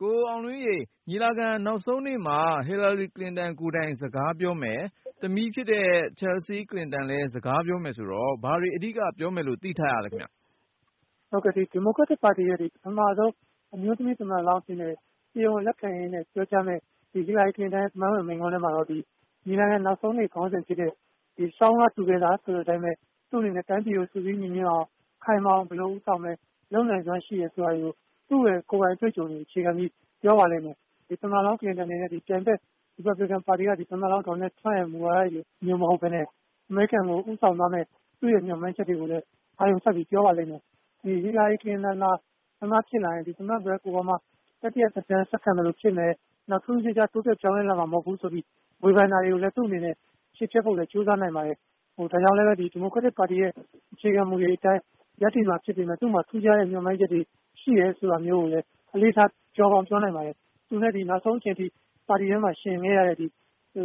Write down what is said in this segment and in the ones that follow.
ကိုအောင်လွင်ဦးရေ ညီလာခံနောက်ဆုံးနေ့မှာ ဟီလာရီကလင်တန် ကိုယ်တိုင် စကားပြောမယ်၊ သမီးဖြစ်တဲ့ ချယ်လ်ဆီး-ကလင်တန်လည်း စကားပြောမယ်ဆိုတော့ ဘာတွေ အဓိက ပြောမယ်လို့ သိထားရသလဲ။ ဟုတ်ကဲ့။ ဒီမိုကရက်တစ်ပါတီရဲ့ ပထမဆုံး အမျိုးသမီးသမ္မတလောင်းအဖြစ် တရားဝင်လက်ခံရင်းနဲ့ပြောကြားမယ့် ဟီလာရီကလင်တန်ရဲ့သမိုင်းဝင်မိန့်ခွန်းထဲမှာ ညီလာခံနောက်ဆုံးနေ့ ခေါင်းစဉ်ဖြစ် တဲ့ " Stronger Together" ဆိုတဲ့အတိုင်းပဲ သူ့အနေနဲ့ တိုင်းပြည်ကို စုစည်းညီညွတ်အောင် ခိုင်မာအောင် ဘယ်လိုဦးဆောင်မယ် လုပ်နိုင်စွမ်းရှိတယ် ဆိုတာကို သူ့ကိုယ်ပိုင်အတွေ့အကြုံနဲ့ အခြေခံပြီး ပြောပါလိမ့်မယ်။ ပထမဆုံးကလင်တန်အနေနဲ့ သူ့ရဲ့ပြိုင်ဖက် ရီပတ်ပလင်ကန်က သမ္မတလောင်း ဒေါ်နယ်ထရမ့်ရဲ့ မူဝါဒတွေလိုမဟုတ်ပဲနဲ့ အမေရိကန်ကို ဦးဆောင်သွားမယ့် သူ့ရဲ့ မျှော်မှန်းချက်တွေကိုလည်းပဲ အာရုံစိုက်ပြီး ပြောပါလိမ့်မယ်။ ဟီလာရီကလင်တန်သာ သမ္မတဖြစ်လာရင် သမ္မတ ဘရက်အိုဘားမား တတိယ သက်တမ်းဆက်ခံသလိုဖြစ်မယ်။ နောက် ထူးထူးခြားခြား တိုးတက်ပြောင်းလဲလာမှာ မဟုတ်ဘူးဆိုပြီး ဝေဖန်တာတွေကိုလည်း သူ့အနေနဲ့ ချေဖျက်ဖို့လည်း ကြိုးစားနိုင်ပါတယ်။ ဒါကြောင့်လည်းပဲ ဒီမိုကရက်တစ်ပါတီရဲ့ အခြေခံမူတွေအတိုင်း ရပ်တည်မှာဖြစ်ပေမဲ့ သူ့မှာ ထူးခြားတဲ့မျှော်မှန်းချက်တွေ ရှိတယ်ဆိုတာမျိုးကိုလည်း အလေးထားပြောကောင်းပြောနိုင်ပါတယ်။ သူနဲ့ နောက်ဆုံးအချိန်အထိ ပါတီထဲမှာ ယှဉ်ခဲ့ရတဲ့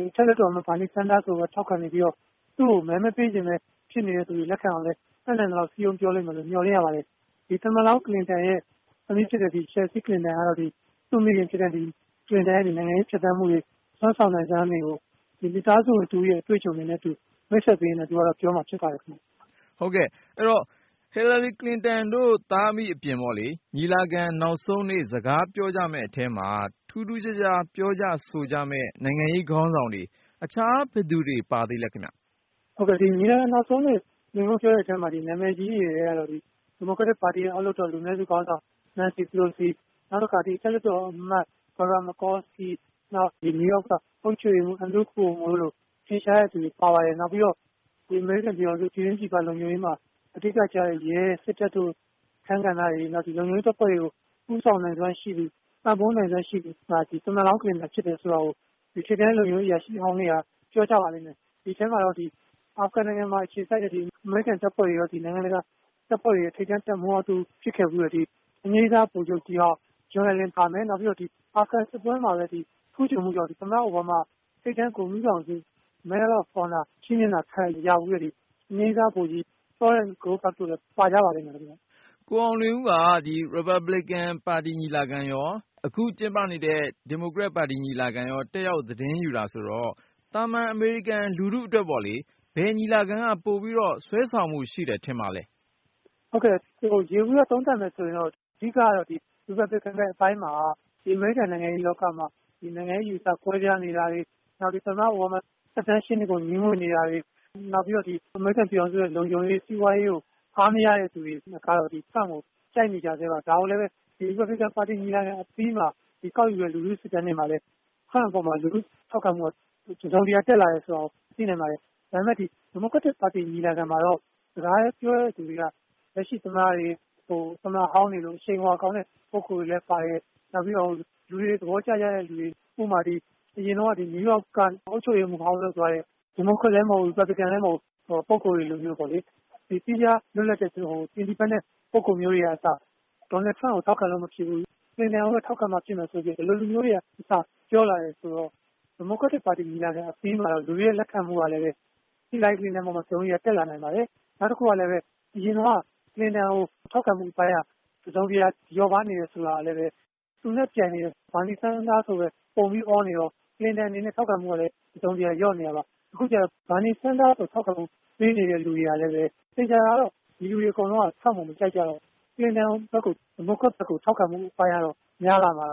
အထက်လွှတ်တော်အမတ် ဘားနီးဆန်းဒါးကိုလည်း ထောက်ခံပြီးတော့ သူ့ကို မဲမပေးချင်ပဲ ဖြစ်နေသူတွေ လက်ခံအောင်လည်း တတ်နိုင်သလောက် စည်းရုံးပြောလိုက်မယ်လို့ မျှော်လင့်ရပါတယ်။ သမ္မတဟောင်းကလင်တန်ရဲ့သမီး ချာ်လ်ဆီးကလင်တန်ကတော့ သူ့မိခင်ကလင်တန်ရဲ့ နိုင်ငံရေးဖြတ်သန်းမှုတွေ စွမ်းဆောင်နိုင်စွမ်းတွေကို မိသားစုဝင်တဦးရဲ့ အတွေ့အကြုံတွေကို မိတ်ဆက်ပေးရင်းနဲ့ သူကတော့ ပြောမှာဖြစ်ပါတယ်ခင်ဗျ။ ဟုတ်ကဲ့ အဲဒီတော့ ဟီလာရီ ကလင်တန်တို့ သားအမိအပြင် ညီလာခံ နောက်ဆုံးနေ့ စကားပြောကြမယ့်အထဲမှာ ထူးထူးခြားခြား ပြောကြ ဆိုကြမယ့် နိုင်ငံရေးခေါင်းဆောင်တွေ - တခြား ဘယ်သူတွေ ပါသေးလဲခင်ဗျ။ ဟုတ်ကဲ့။ ညီလာခံနောက်ဆုံးနေ့ ပြောကြမယ့်သူတွေအထဲမှာ နာမည်ကြီးတွေထဲမှာတော့ ဒီမိုကရက်တစ်အောက်လွှတ်တော် လူနည်းစုခေါင်းဆောင် နန်စီပလိုစီ၊ နောက်တခါ အထက်လွှတ်တော်အမတ်၊ နယူးယောက်က အုပ်ချုပ်ရေးမှူးတို့လို ထင်ရှားတဲ့သူတွေပါပါတယ်။ နောက်ပြီးတော့ အမေရိကန်ပြည်ထောင်စု ပြည်တွင်း၊ ပြည်ပ လုံခြုံရေးမှာ အဓိက ကျတဲ့ရဲ၊ စစ်တပ်တို့ အခန်းကဏ္ဍ တွေ နောက် လုံခြုံရေးတပ်ဖွဲ့တွေကို ဦးဆောင်နိုင်စွမ်းရှိသူ၊ ပံ့ပိုးနိုင်စွမ်းရှိသူက သမ္မတလောင်း ကလင်တန်ဖြစ်တယ်ဆိုတာကို ထိပ်တန်းလုံခြုံရေးအရာရှိဟောင်းတွေက ပြောကြပါလိမ့်မယ်။ ဒီအထဲမှာ အာဖဂန်မှာ အခြေစိုက်တဲ့ အမေရိကန်တပ်ဖွဲ့တွေရော နိုင်ငံတကာတပ်ဖွဲ့တွေရဲ့ ထိပ်တန်းတပ်မှူးဟောင်းတဦး ဖြစ်ခဲ့ဖူးတဲ့ အငြိမ်းစားဗိုလ်ချုပ်ကြီးဟောင်း ပါမယ်။ နောက်ပြီးတော့ အာဖဂန်စစ်ပွဲမှာ ထူးချွန်ပြီးတော့ သမ္မတ အိုဘားမား ထိပ်တန်းဂုဏ်ထူးဆောင်ဆု ချီးမြှင့်တာခံရဖူးတဲ့ အငြိမ်းစားဗိုလ်ကြီးလည်း ပါကြပါလိမ့်မယ်ခင်ဗျ။ ကိုအောင်လွင်ဦးက Republican ညီလာခံရော ၊ အခု Democrat ပါတီညီလာခံကိုရော တက်ရောက် သတင်းယူတာဆိုတော့ - သာမန် အမေရိကန် လူထုအတွက်ပေါ့လေ။ ဘယ် ပါတီညီလာခံက ပိုပြီး ဆွဲဆောင်မှုရှိတယ် ထင်ပါသလဲ ။ ဟုတ်ကဲ့။ ယေဘူယျသုံးသပ်မယ်ဆိုရင် အဓိက ရီပတ်ပလင်ကန်ဘက်ပိုင်းမှာ အမေရိကန်နိုင်ငံရေးလောက မှာ နိုင်ငံရေးအယူအဆ ကွဲပြားနေတာတွေ၊ သမ္မတ အိုဘားမား သက်တမ်း ၈နှစ်ကို ငြီးငွေ့နေ တာတွေ နောက်ပြီးတော့ အမေရိကန်ပြည်ထောင်စုရဲ့လုံခြုံရေး ၊ စီးပွားရေးကို အားမရတဲ့သူတွေကတော့ ထရမ့်ကို ကြိုက်နေကြဆဲပါ။ ဒါကိုလည်းပဲ ရီပတ်ပလင်ကန်ပါတီညီလာခံအပြီးမှာ ကောက်ယူတဲ့လူထုစစ်တမ်းတွေမှာလည်း ထရမ့်အပေါ်မှာ လူထုထောက်ခံမှုက တစုံတရာ တက်လာတယ်ဆိုတာကို သိနိုင်ပါတယ်။ ဒါပေမဲ့ ဒီမိုကရက်တစ်ညီလာခံမှာတော့ စကားပြောတဲ့သူတွေက လက်ရှိသမ္မတ၊ သမ္မတဟောင်းလို အရှိန်အဝါကောင်းတဲ့ ပုဂ္ဂိုလ်တွေလည်းပါတယ်။ နောက်ပြီးတော့ လူတွေ သဘောကျကြကြတဲ့လူတွေ ဥပမာ အရင်တုန်းက နယူးယောက်က အုပ်ချုပ်ရေးမှူးဟောင်းလုပ်သွားတဲ့ ဒီမိုကရက်လည်းမဟုတ်ဘူး။ ရီပတ်ပလင်ကန် လည်း မဟုတ်ဘူး ပုဂ္ဂိုလ်တွေမျိုးပေါ့လေ။ ပညာတတ်ပြီး လွတ်လပ်တဲ့ ပုဂ္ဂိုလ်မျိုးတွေကအစ ဒေါနယ်ထရမ့်ကို ထောက်ခံလို့မဖြစ်ဘူး။ ကလင်တန်ကိုပဲ ထောက်ခံမှဖြစ်မယ်ဆိုတဲ့ ဒီလိုလူမျိုးတွေက အစ ပြောလာတယ် ဆိုတော့ ဒီမိုကရက်တစ်ပါတီညီလာခံအပြီးမှာတော့ လူတွေရဲ့လက်ခံမှုကလည်း ဟီလာရီကလင်တန်အပေါ်မှာ တစုံတရာ တက်လာနိုင်ပါတယ်။ နောက်တခု ကလည်းပဲ အရင်တုန်းက ကလင်တန်ကို ထောက်ခံမှုအပိုင်းက တစုံတရာ လျော့ပါးနေတယ် ဆိုတာကလည်းပဲ သူ့ပြိုင်ဖက် ဘားနီးဆန်းဒါးကိုပဲ ပုံပြီး အောနေတော့ ကလင်တန်အနေနဲ့ ထောက်ခံမှုက တစုံတရာ လျော့နေတာပါ။ အခုကျတော့ ဘားနီးဆန်းဒါးကို ပေးနေတဲ့သူတွေကလည်းပဲ သေချာတာကတော့ ဒီလူတွေ အကုန်လုံးက ထရမ့်ကို မကြိုက်ကြတော့ ကလင်တန် ဒီမိုကရက်ကို ပံ့ပိုးဖို့ အပိုင်းကတော့ များလာမှာ